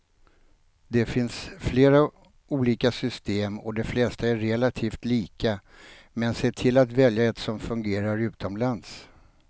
Det finns flera olika system och de flesta är relativt lika, men se till att välja ett som fungerar utomlands.